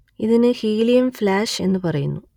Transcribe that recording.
ഇതിനു helium flash എന്നു പറയുന്നു